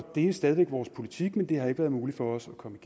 det er stadig væk vores politik men det har ikke været muligt for os at komme